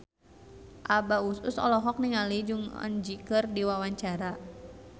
Abah Us Us olohok ningali Jong Eun Ji keur diwawancara